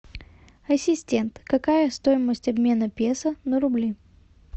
ассистент какая стоимость обмена песо на рубли